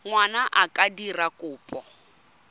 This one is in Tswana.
ngwana a ka dira kopo